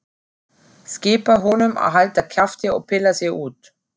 Skipar honum að halda kjafti og pilla sig út.